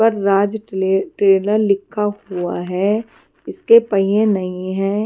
पर राज ट्रे ट्रेलर लिखा हुआ है इसके पहिए नहीं है।